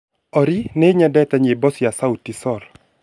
Olly niyendete nyĩmbo cia sauti sol